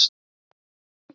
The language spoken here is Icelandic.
Ljósið bjarta!